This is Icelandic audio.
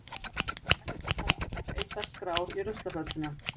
Ekki fara allar eyddar skrár í ruslafötuna.